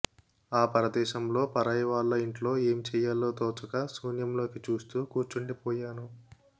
ఆ పరదేశంలో పరాయి వాళ్ళ ఇంట్లో ఏం చెయ్యాలో తోచక శూన్యంలోకి చూస్తూ కూర్చుండి పొయ్యాను